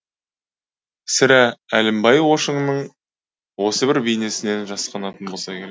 сірә әлімбай ошыңның осы бір бейнесінен жасқанатын болса керек